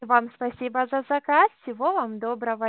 вам спасибо за заказ всего вам доброго